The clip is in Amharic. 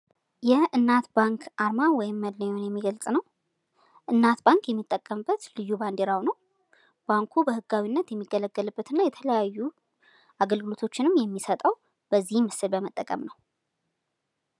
ይህ የእናት ባንክ አርማን ወይም መለያን የሚገልጽ ነው። እናት ባንክ የሚጠቀምበት ልዩ ባንዲራው ነው። ባንኩ በህጋዊነት የሚገለገልበትና የተለያዩ አገልግሎቶችንም የሚሰጠው ይህን ምስል በመጠቀም ነው።